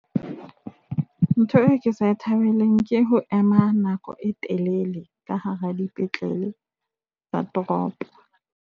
Ntho e ke sa e thabeleng ke ho ema nako e telele ka hara dipetlele tsa toropo.